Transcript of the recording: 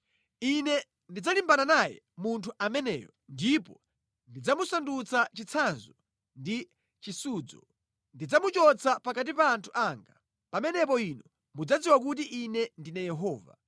Ine ndidzalimbana naye munthu ameneyo ndipo ndidzamusandutsa chitsanzo ndi chisudzo. Ndidzamuchotsa pakati pa anthu anga. Pamenepo inu mudzadziwa kuti Ine ndine Yehova.